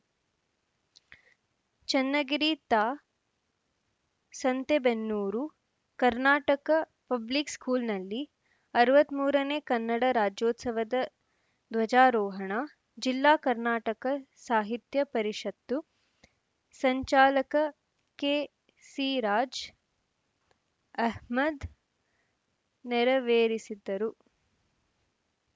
ಚನ್ನಗಿರಿ ತಾ ಸಂತೆಬೆನ್ನೂರು ಕರ್ನಾಟಕ ಪಬ್ಲಿಕ್‌ ಸ್ಕೂಲ್‌ನಲ್ಲಿ ಅರವತ್ತ್ ಮೂರನೇ ಕನ್ನಡ ರಾಜ್ಯೋತ್ಸವದ ಧ್ವಜಾರೋಹಣ ಜಿಲ್ಲಾ ಕರ್ನಾಟಕ ಸಾಹಿತ್ಯ ಪರಿಷತ್ತು ಸಂಚಾಲಕ ಕೆಸಿರಾಜ್‌ ಅಹ್ಮದ್‌ ನೆರವೇರಿಸಿದರು